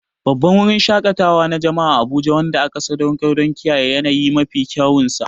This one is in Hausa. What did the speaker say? Babban wurin shaƙatawa na jama'a na Abuja wanda aka sadaukar don kiyaye yanayi a mafi kyawunsa.